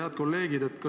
Head kolleegid!